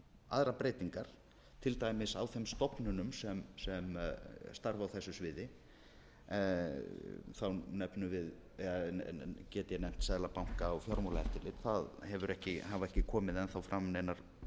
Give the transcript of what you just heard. aðrar breytingar til dæmis á þeim stofnunum sem starfa á þessu sviði þá get ég nefnt seðlabanka og fjármálaeftirlit það hafa ekki komið enn þá fram neinar